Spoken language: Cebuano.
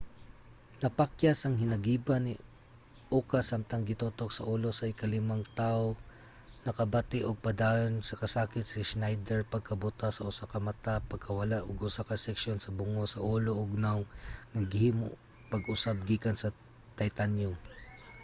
napakyas ang hinagiban ni uka samtang gitutok sa ulo sa ikalimang tawo. nakabati ug padayon na kasakit si schneider pagkabuta sa usa ka mata pagkawala ug usa ka seksyon sa bungo sa ulo ug nawong nga gihimo pag-usab gikan sa titanyum